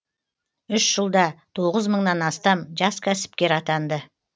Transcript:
үш жылда тоғыз мыңнан астам жас кәсіпкер атанды